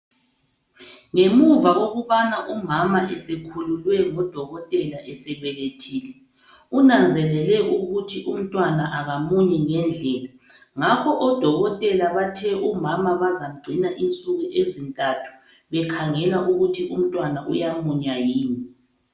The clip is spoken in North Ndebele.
Ngemuva kokubana umama esekhululwe ngodokotela esebelethile, kunanzelelwe ukuthi umntwana akamunyi ngendlela. Ngakho odokotela bathe umama bazamgcina insuku ezintathu, bekhangela ukuthi umntwana uyamunya yini.